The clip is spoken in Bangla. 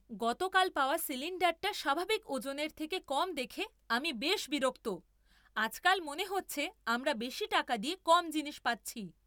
গতকাল পাওয়া সিলিণ্ডারটা স্বাভাবিক ওজনের থেকে কম দেখে আমি বেশ বিরক্ত। আজকাল মনে হচ্ছে আমরা বেশি টাকা দিয়ে কম জিনিস পাচ্ছি!